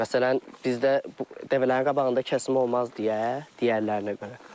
Məsələn, bizdə dəvələrin qabağında kəsim olmaz deyə, digərlərinə görə.